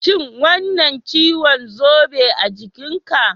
Shin wannan ciwon zobe a jikinka?